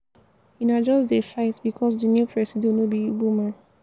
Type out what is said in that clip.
una just dey fight because di new presido no be igbo man.